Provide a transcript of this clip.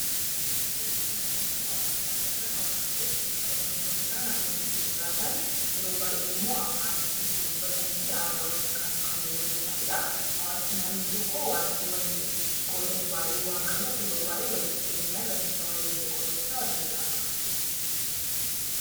Suura kanarratti hawaasa agarra. Hawaasni walitti qabama namoota naannoo tokko jiraatan, yeroo baay'ee immoo afaan tokko dubbatanii fi aadaa wal fakkaatu kanneen hordofanidha. Hawaasni naannoo tokkoo waanta waliin qooddatu baay'ee waan qabuuf, yeroo baay'ee walitti dhiyeenyaan rakkina waliillee qooddachaa waliin jiraatu.